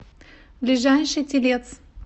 ближайший телец